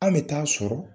An bɛ taa sɔrɔ